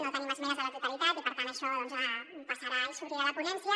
no tenim esmenes a la totalitat i per tant això doncs passarà i s’obrirà la ponència